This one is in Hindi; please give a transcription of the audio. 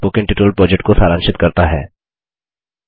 यह स्पोकन ट्यटोरियल प्रोजेक्ट को सारांशित करता है